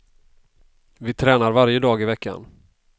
Vi tränar varje dag i veckan.